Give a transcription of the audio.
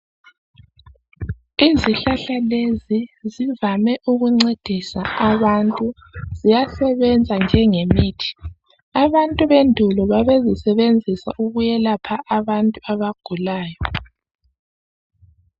Izihlahla lezi zivame ukuncedisa abantu. Ziyasebenza njengemithi. Abantu bendulo babesisebenzisa ukwelapha abantu abagulayo.